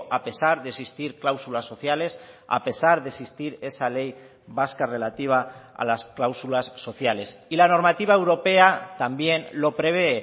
a pesar de existir cláusulas sociales a pesar de existir esa ley vasca relativa a las cláusulas sociales y la normativa europea también lo prevé